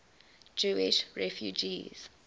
jewish refugees